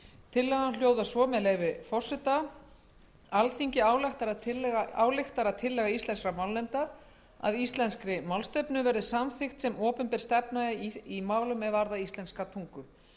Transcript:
tillagan hljóðar svo með leyfi forseta alþingi ályktar að tillaga íslenskrar málnefndar að íslenskri málstefnu verði samþykkt sem opinber stefna í málum er varða íslenska tungu